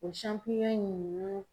O ninnu